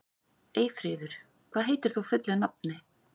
Eyfríður, hvað heitir þú fullu nafni?